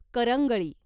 करंगळी